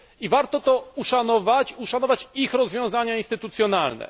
Warto to uszanować, uszanować ich rozwiązania instytucjonalne.